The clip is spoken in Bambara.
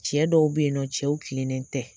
Cɛ dɔw bɛ ye nɔ cɛw kilennen tɛ.